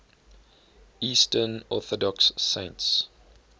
eastern orthodox saints